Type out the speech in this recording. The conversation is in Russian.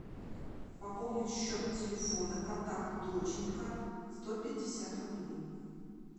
пополнить счет телефона контакт доченька сто пятьдесят рублей